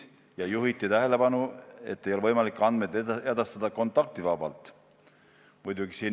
Seejuures juhiti tähelepanu, et ei ole võimalik neid andmeid edastada kontaktivabalt.